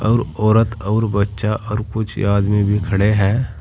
और औरत अउर बच्चा और कुछ आदमी भी खड़े हैं।